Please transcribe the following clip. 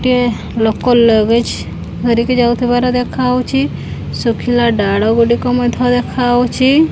ଟେ ଲୋକ ଲଗେଜ୍ ଧରିକି ଯାଉଥିବାର ଦେଖାହଉଛି ଶୁଖିଲା ଡାଳ ଗୁଡିକ ମଧ୍ୟ ଦେଖାହଉଛି।